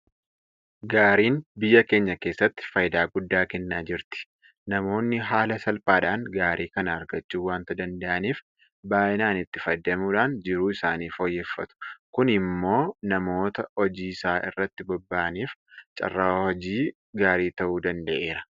Gaariin biyya keenya keessatti faayidaa guddaa kennaa jirti. Namoonni haala salphaadhaan gaarii kana argachuu waanta danda'aniif baay'inaan itti fayyadamuudhaan jiruu isaanii fooyyeffatu. Kun immoo namoota hojii isaa irratti bobba'aniif carraa hojii gaarii ta'uu danda'eera.